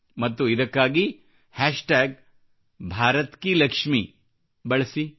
ಮತ್ತು ಇದಕ್ಕಾಗಿ ಹಾಶ್ tagbharatkilaxmiಬಳಸಿ